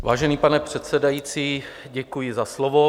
Vážený pane předsedající, děkuji za slovo.